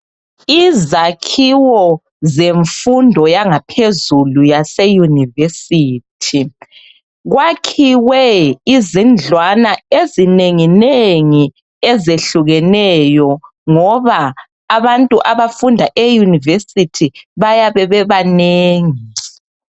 Izakhiwo kwezemfundo yaphezulu yase university kwakhiwe izindlwana ezinengi nengi ezehlukeneyo ngoba abantu abafunda e university bayabe bebanengi